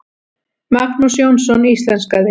Magnús Jónsson íslenskaði.